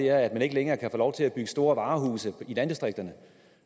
er at man ikke længere kan få lov til at bygge store varehuse i landdistrikterne